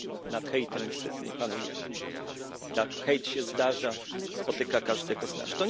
Nad hejtem niestety nie panujemy, hejt się zdarza, spotyka każdego z nas.